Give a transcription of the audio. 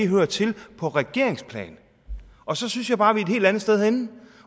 hører til på regeringsplan og så synes jeg bare vi er et helt andet sted henne